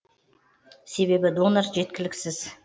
себебі донор жеткіліксіз